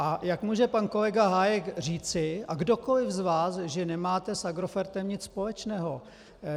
A jak může pan kolega Hájek říci a kdokoliv z vás, že nemáte s Agrofertem nic společného?